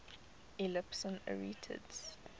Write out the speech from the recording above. epsilon arietids